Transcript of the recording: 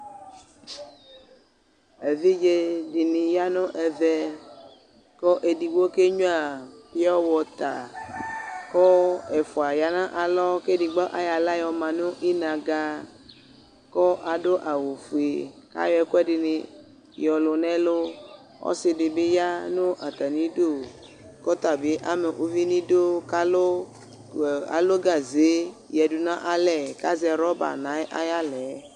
Evidze dɩnɩ ya nʋ ɛvɛ, kʋ edigbo kenyʋǝ pɩɔwɔta, kʋ ɛfʋa ya nʋ alɔ, kʋ edigbo ayɔ aɣla yɔ ma nʋ inaga, kʋ adʋ awʋfue, kʋ ayɔ ɛkʋ ɛdɩnɩ yɔlʋ nʋ ɛlʋ Ɔsɩdɩ bɩ ya nʋ atamɩ idu, kʋ ɔta bɩ ama uvi nʋ idu, kʋ alʋ gaze yǝdʋ nʋ alɛ, kʋ azɛ wrɔba nʋ ayʋ aɣla yɛ